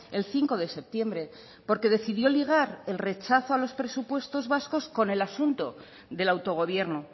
el cinco de septiembre porque decidió ligar el rechazo a los presupuestos vascos con el asunto del autogobierno